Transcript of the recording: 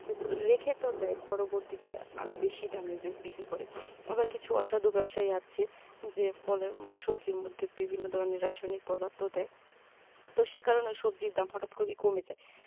রেখে তো দেয় যে পরবর্তীতে আরও বেশি দামে বিক্রি বিক্রি করে আবার কিছু অসাধু ব্যবসায়ী আছে যে পরে সবজির মধ্যে বিভিন্ন ধরনের রাসায়নিক পদার্থ দেয় তো সে কারণেই সবজির দাম হঠাৎ করেই কমে যায়